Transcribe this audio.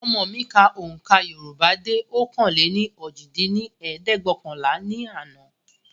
Ọmọ mi ka ohùnkà Yorùbá dé ọ̀kan-lé-ní-ojì dín ní ẹ̀ẹ́dẹ́gbẹ́ọ̀kànlá ní àná